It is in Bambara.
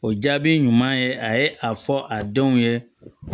O jaabi ɲuman ye a ye a fɔ a denw ye